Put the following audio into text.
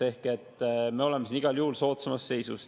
Ehk me oleme siin igal juhul soodsamas seisus.